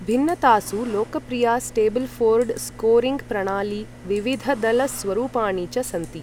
भिन्नतासु लोकप्रिया स्टेबलफोर्ड स्कोरिङ्ग्प्र णाली, विविधदल स्वरूपाणि च सन्ति।